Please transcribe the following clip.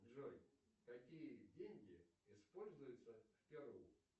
джой какие деньги используются в перу